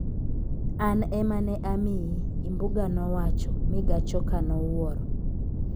An ema ne amiyi", Imbuga nowacho, mi Gachoka nowuoro.